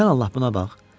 Sən Allah buna bax.